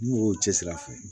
Ni mɔgɔw cɛsiri a fɔ